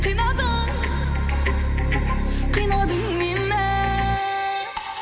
қинадың қинадың мені